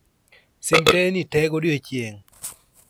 sim teyni te godiechieng'